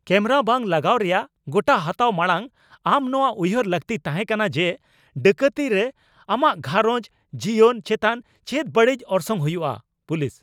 Camera ᱵᱟᱝ ᱞᱟᱜᱟᱣ ᱨᱮᱭᱟᱜ ᱜᱚᱴᱟ ᱦᱟᱛᱟᱣ ᱢᱟᱲᱟᱝ ᱟᱢ ᱱᱚᱣᱟ ᱩᱭᱦᱟᱹᱨ ᱞᱟᱹᱠᱛᱤ ᱛᱟᱦᱮᱸᱠᱟᱱᱟ ᱡᱮ, ᱰᱟᱹᱠᱟᱹᱛᱤ ᱨᱮ ᱟᱢᱟᱜ ᱜᱷᱟᱨᱚᱸᱡᱽ ᱡᱤᱭᱚᱱ ᱪᱮᱛᱟᱱ ᱪᱮᱫ ᱵᱟᱹᱲᱤᱡ ᱚᱨᱥᱚᱝ ᱦᱩᱭᱩᱜᱼᱟ ᱾ (ᱯᱩᱞᱤᱥ)